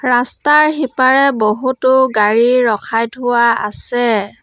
ৰাস্তাৰ সিপাৰে বহুতো গাড়ী ৰখাই থোৱা আছে।